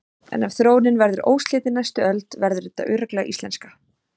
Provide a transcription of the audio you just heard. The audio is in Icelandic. En ef þróunin verður óslitin næstu öld verður þetta örugglega íslenska.